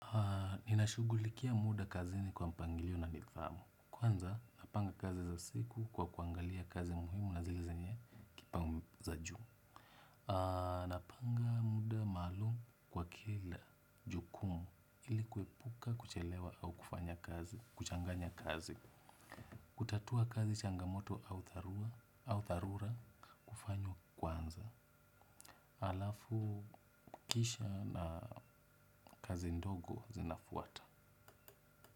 Ninashughulikia muda kazini kwa mpangilio na nidhamu. Kwanza, napanga kazi za siku kwa kuangalia kazi muhimu na zile zenye kipangu za juu. Napanga muda maalum kwa kila jukumu ili kuepuka kuchelewa au kuchanganya kazi. Kutatua kazi changamoto au dharura kufanya kwanza. Alafu kisha na kazi ndogo zinafuata.